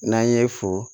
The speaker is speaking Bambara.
N'an ye fo